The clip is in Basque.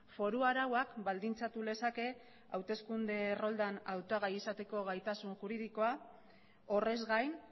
foru arauak baldintzatu lezake hauteskunde erroldan hautagai izateko gaitasun juridikoa horrez gain